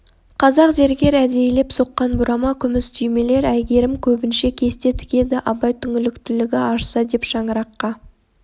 қазақ зергер әдейілеп соққан бұрама күміс түймелер әйгерім көбінше кесте тігеді абай түңіліктігі ашса деп шаңыраққа